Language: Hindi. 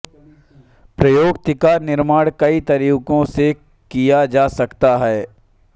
प्रेयोक्ति का निर्माण कई तरीके से किया जा सकता है